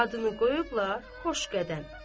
Adını qoyublar Xoşqədəm.